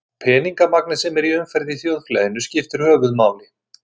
Peningamagnið sem er í umferð í þjóðfélaginu skiptir höfuðmáli.